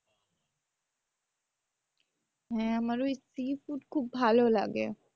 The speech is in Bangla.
হ্যাঁ আমার ওই sea food খুব ভালো লাগে।